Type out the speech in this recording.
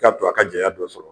I ka to a ka janɲa dɔ sɔrɔ.